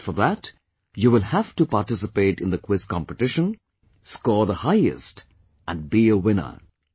But for that, you will have to participate in the Quiz competition, score the highest & be a winner